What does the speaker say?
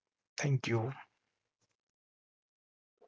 thank you